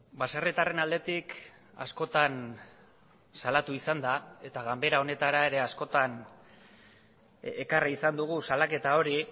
baserritarren aldetik askotan salatu izan da eta ganbera honetara ere askotan ekarri izan dugu salaketa hori